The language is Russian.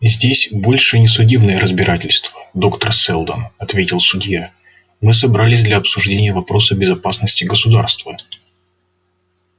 здесь больше не судебное разбирательство доктор сэлдон ответил судья мы собрались для обсуждения вопроса безопасности государства